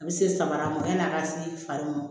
A bɛ se samara ma yan'a ka se fari ma